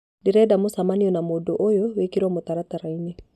ndĩrenda mũcemanio na mũndũ ũyũ wĩkĩrwo mũtaratara -inĩ